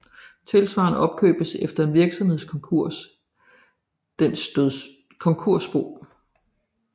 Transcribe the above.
Tilsvarende opgøres efter en virksomheds konkurs dens konkursbo